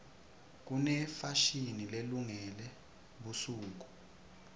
kunefashini lelungele busuku